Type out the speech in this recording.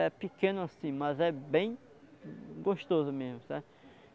É pequeno assim, mas é bem gostoso mesmo sabe?